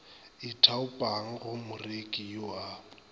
ithaopang go moreki yo a